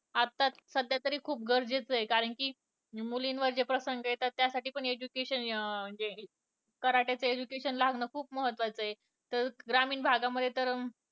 आता सध्या तरी खूप गरजेचे आहे. कारण कि मुलींवर जे प्रसंग येतात त्यासाठी पण education अं म्हणजे karate चे education लावणं पण खुप महत्वाचं आहे. ग्रामीण भागामध्ये तर